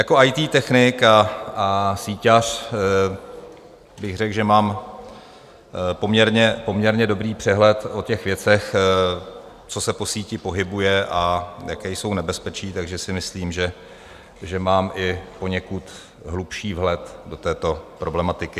Jako IT technik a síťař bych řekl, že mám poměrně dobrý přehled o těch věcech, co se po síti pohybuje a jaká jsou nebezpečí, takže si myslím, že mám i poněkud hlubší vhled do této problematiky.